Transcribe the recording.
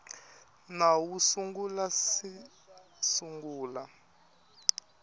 nawu wu nga si sungula